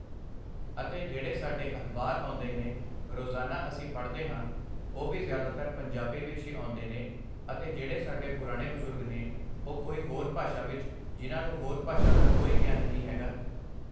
ਅਤੇ ਜਿਹੜੇ ਸਾਡੇ ਅਖਬਾਰ ਆਉਂਦੇ ਨੇ ਰੋਜ਼ਾਨਾ ਅਸੀਂ ਪੜ੍ਹਦੇ ਹਾਂ ਉਹ ਵੀ ਜ਼ਿਆਦਾਤਰ ਪੰਜਾਬੀ ਵਿੱਚ ਹੀ ਆਉਂਦੇ ਨੇ ਅਤੇ ਜਿਹੜੇ ਸਾਡੇ ਪੁਰਾਣੇ ਬਜ਼ੁਰਗ ਨੇ, ਉਹ ਕੋਈ ਹੋਰ ਭਾਸ਼ਾ ਵਿੱਚ ਜਿਨ੍ਹਾਂ ਨੂੰ ਹੋਰ ਭਾਸ਼ਾ ਦਾ ਕੋਈ ਗਿਆਨ ਨਹੀਂ ਹੈਗਾ